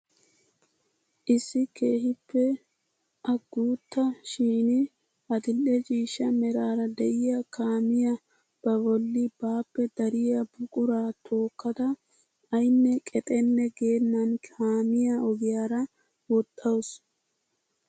Issi keehippe a guutta shin adil'e ciishsha meraara de'iyaa kaamiyaa ba bolli baappe dariyaa buquraa tookkada aynne qexenne geennan kaamiyaa ogiyaara woxxawus!